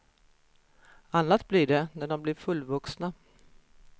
Annat blir det när de blir fullvuxna.